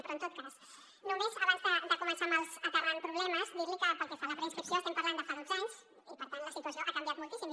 però en tot cas només abans de començar aterrant problemes dir li que pel que fa a la preinscripció estem parlant de fa dotze anys i per tant la situació ha canviat moltíssim